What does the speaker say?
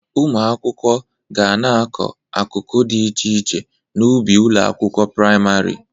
Ụmụ akwụkwọ ga na-akụ akụkụ dị iche iche n'ubi ụlọ akwụkwọ prịmarị